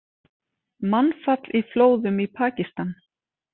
Mannfall í flóðum í Pakistan